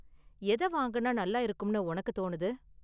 எதை வாங்குனா நல்லா இருக்கும்னு உனக்கு தோணுது?